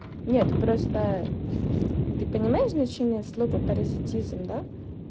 нет просто ты понимаешь значение слова паразитизм да